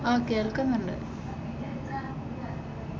അഹ് കേൾക്കുന്നുണ്ട്.